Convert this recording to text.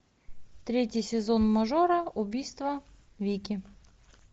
третий сезон мажора убийство вики